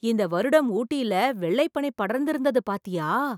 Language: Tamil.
இந்த வருடம் ஊட்டில வெள்ளைப் பனி படர்ந்து இருந்தது பார்த்தியா